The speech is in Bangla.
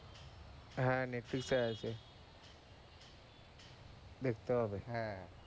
হ্যাঁ netflix আছে দেখতে হবে,